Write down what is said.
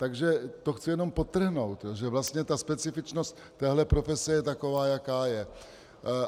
Takže to chci jenom podtrhnout, že vlastně ta specifičnost této profese je taková, jaká je.